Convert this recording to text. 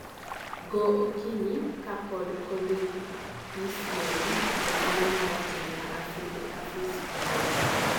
goo okinyi ka pod kodhi this neno. Oganda ma rateng ma aphid (Aphis fabae)